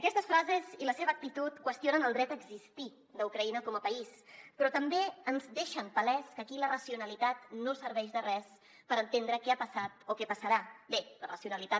aquestes frases i la seva actitud qüestionen el dret a existir d’ucraïna com a país però també ens deixen palès que aquí la racionalitat no serveix de res per entendre què ha passat o què passarà bé la racionalitat